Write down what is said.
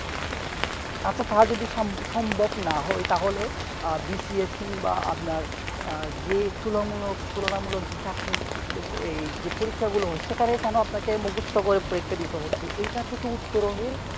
হ্যাঁ তো তা যদি সম~সম্ভব নাহয় তাহলে আহ BCSC বা আপনার আহ যে তুলো মূলক তুলনা মূলক যে চাকরি এই যে পরীক্ষা গুলো হচ্ছে কারো কেন আপনাকে মুকস্ত করে পরীক্ষা দিতে হচ্ছে ইটা থেকে উত্তরণের